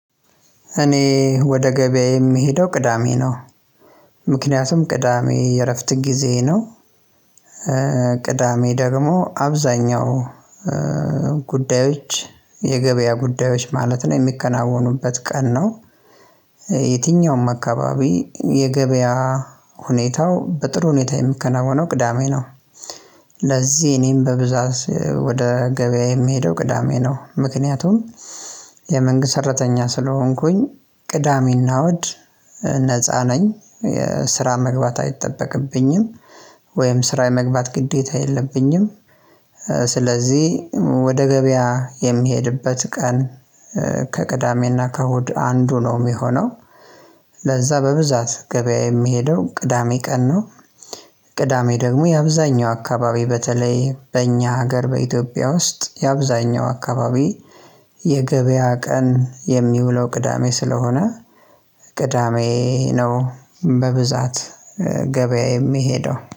እኔ ወደ ገበያዬ የምሄደው ቅዳሜ ነው ምክንያቱም ቅዳሜ የእረፍት ጊዜ ነው። ቅዳሜ ደግሞ አብዛኛው ጉዳዮች የገበያ ጉዳዮች ማለት ነው የሚከናወኑበት ቀን ነው። የትኛውም አካባቢ የገበያ ሁኔታው በጥሩ ሁኔታ የምከናወነው ቅዳሜ ነው። ለዚህ እኔም በብዛት ወደ ገበያ የምሄደው ቅዳሜ ነው። ምክንያቱም የመንግስት ሰራተኛ ስለሆንኩኝ ቅዳሜና እሁድ ነፃ ነኝ የስራ መግባት አይጠበቅብኝም ወይም ስራ የመግባት ግዴታ የለብኝም። ስለዚህ ወደ ገበያ የሚሄድበት ቀን ከቅዳሜና ከእሁድ አንዱ ነው የሚሆነው። ለዛ በብዛት ገበያ የሚሄደው ቅዳሜ ቀን ነው። ቅዳሜ ደግሞ የአብዛኛው አካባቢ በተለይ በእኛ ሀገር በኢትዮጵያ ውስጥ የአብዛኛው አካባቢ የገበያ ቀን የሚውለው ቅዳሜ ስለሆነ። ቅዳሜ ነው በብዛት ገበያ የሚሄደው